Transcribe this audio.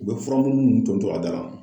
U bɛ furamugu ninnu tɔntɔn a da la.